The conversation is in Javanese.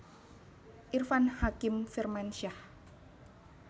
Irfan Hakim Firmansyah